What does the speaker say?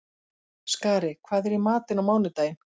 Skari, hvað er í matinn á mánudaginn?